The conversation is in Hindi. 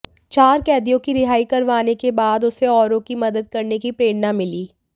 चार कैदियों की रिहाई करवाने के बाद उसे औरों की मदद करने की प्रेरणा मिली